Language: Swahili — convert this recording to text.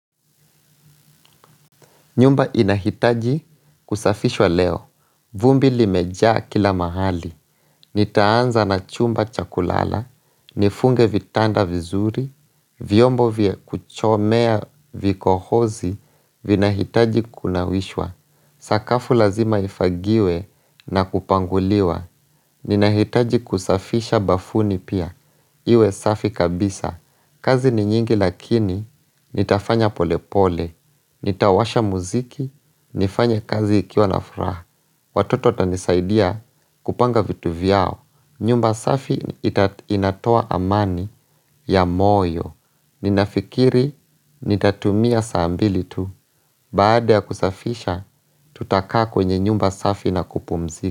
Nyumba inahitaji kusafishwa leo. Vumbi limejaa kila mahali. Nitaanza na chumba chakulala. Nifunge vitanda vizuri. Vyombo vya kuchomea vikohozi vinahitaji kunawishwa. Sakafu lazima ifagiwe na kupanguliwa Ninahitaji kusafisha bafuni pia Iwe safi kabisa kazi ni nyingi lakini Nitafanya pole pole Nitawasha muziki nifanye kazi nikiwa na furaha Watoto watanisaidia kupanga vitu vyao nyumba safi ita inatoa amani ya moyo Ninafikiri nitatumia saa mbili tu Baada ya kusafisha, tutakaa kwenye nyumba safi na kupumzika.